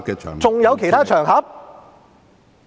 還有其他場合嗎？